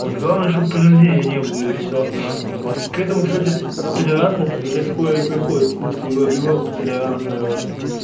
вот главное чтобы при рождении не было и всё к этому кстати толерантность уже скоро и приходит в смысле европа толерантная вот